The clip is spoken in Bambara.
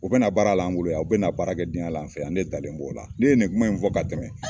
U be na baara la an bolo yan. U be na baarakɛden ya la an fɛ yan, ne dalen b'o la ne ye nin kuma in fɔ ka tɛmɛ.